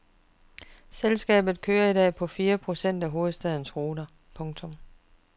Selskabet kører i dag på fire procent af hovedstadens ruter. punktum